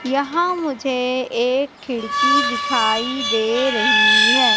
यहां मुझे एक खिड़की दिखाई दे रही है।